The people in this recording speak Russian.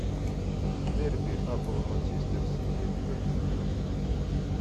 дерби апл манчестер сити тоттенхэм